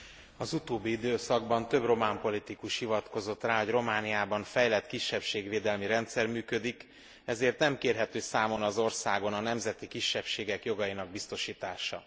Az utóbbi időszakban több román politikus hivatkozott rá, hogy Romániában fejlett kisebbségvédelmi rendszer működik, ezért nem kérhető számon az országon a nemzeti kisebbségek jogainak biztosítása.